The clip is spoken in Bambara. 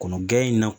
Kɔnɔ gɛlɛn in na